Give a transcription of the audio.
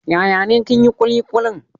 Yaya ne kin hi kulikulin?